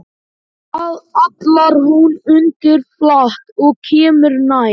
Við það hallar hún undir flatt og kemur nær.